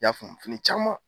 y'a faamu fini caman.